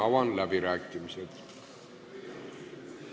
Avan läbirääkimised.